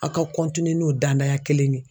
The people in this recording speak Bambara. Aw ka n'o danaya kelen ye